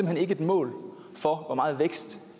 hen ikke et mål for hvor meget vækst